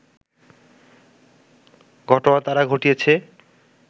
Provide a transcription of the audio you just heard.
ঘটনা তারা ঘটিয়েছে